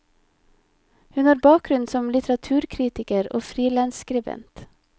Hun har bakgrunn som litteraturkritiker og frilansskribent.